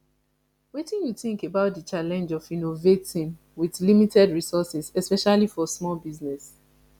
wetin you think about di challenge of innovating with limited resources especially for small business